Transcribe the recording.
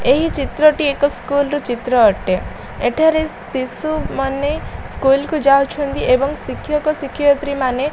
ଏହି ଚିତ୍ର ଟି ଏକ ସ୍କୁଲର ର ଚିତ୍ର ଅଟେ ଏଠାରେ ଶିଶୁମାନେ ସ୍କୁଲ କୁ ଯାଉଛନ୍ତି ଏବଂ ଶିକ୍ଷକ ଶିକ୍ଷୟିତ୍ରୀମାନେ --